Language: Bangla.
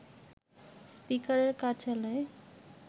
স্পিকারের কার্যালয়ে